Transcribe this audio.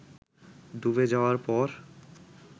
ডুবে যাওয়ার পর